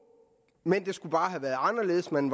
men det skulle bare have været anderledes man